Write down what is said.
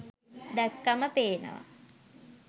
දැක්කම පේනවා.